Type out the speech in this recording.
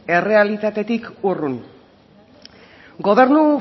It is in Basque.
errealitatetik urrun gobernu